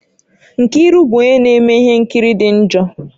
Nkiru bụ onye na-eme ihe nkiri dị njọ